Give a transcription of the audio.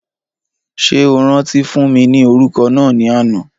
Ṣé o rántí fún mi ní òrùka náà ni àná?